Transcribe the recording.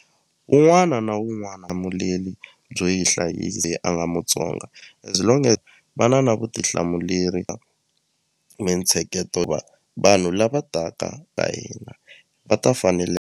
Un'wana na un'wana byo yi leyi a nga Mutsonga as long va na na vutihlamuleri mintsheketo vanhu lava taka ka hina va ta fanele.